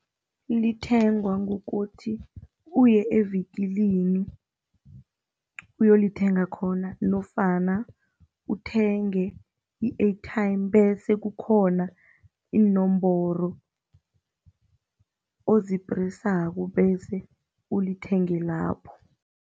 Lithengwa ngokuthi uye evikilini, uyolithenga khona nofana uthenge i-airtime bese kukhona iinomboro ozipresako bese ulithenge lapho.